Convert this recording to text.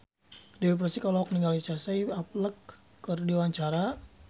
Dewi Persik olohok ningali Casey Affleck keur diwawancara